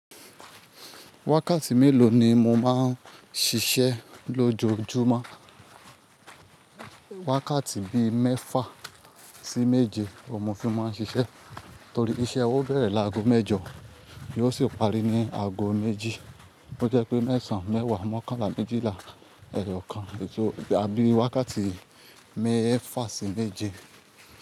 Wákàtí mélòó ni mo máa ń ṣiṣẹ́ lójoojúmọ́? Wákàtí bíi mẹ́fà sí méje òun mo fi máa ń ṣiṣẹ́ torí iṣẹ́ wá ó bẹ̀rẹ̀ lágo mẹ́jọ yóò sì parí ní aago méjì. Ó jẹ́ pé mẹ́sàn-án, mẹ́wàá, mọ́kànlá, méjìlá, ẹyọ kan sò, bí wákàtí mẹ́fà sí méje.